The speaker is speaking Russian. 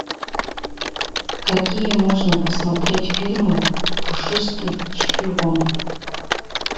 какие можно посмотреть фильмы пушистый шпион